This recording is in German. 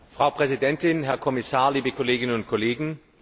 Frau Präsidentin, Herr Kommissar, liebe Kolleginnen und Kollegen.